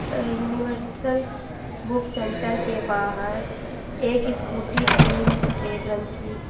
अह universal book centre के बाहर एक स्कूटी खड़ी है सफेद रंग की।